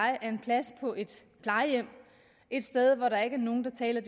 er en plads på et plejehjem et sted hvor der ikke er nogen der taler